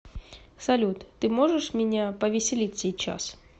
салют ты можешь меня повеселить сейчас